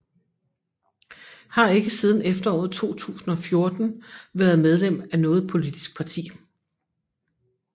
Har ikke siden efteråret 2014 været medlem af noget politisk parti